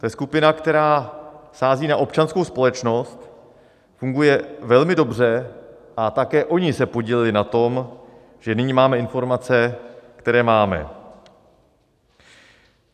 To je skupina, která sází na občanskou společnost, funguje velmi dobře a také oni se podíleli na tom, že nyní máme informace, které máme.